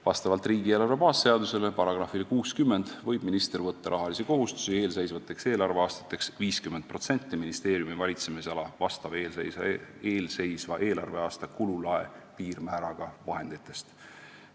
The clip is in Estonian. " Vastavalt riigieelarve baasseaduse §-le 60 võib minister võtta rahalisi kohustusi eelseisvateks eelarveaastateks 50% ministeeriumi valitsemisala vastava eelseisva eelarveaasta kululae piirmääraga vahenditest.